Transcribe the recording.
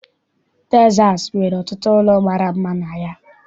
Texas nwere ọtụtụ ụlọ mara mma na ya.